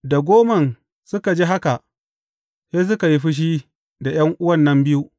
Da goman suka ji haka, sai suka yi fushi da ’yan’uwan nan biyu.